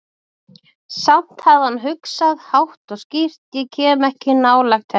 Samt hafði hann hugsað, hátt og skýrt: Ég kem ekki nálægt henni.